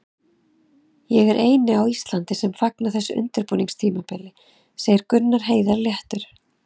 Ég er eini á Íslandi sem fagna þessu undirbúningstímabili, segir Gunnar Heiðar léttur.